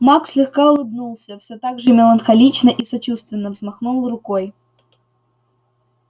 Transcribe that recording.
маг слегка улыбнулся всё так же меланхолично и сочувственно взмахнул рукой